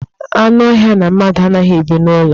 Anụ ọhịa na mmadụ anaghị ebi n'ụlọ.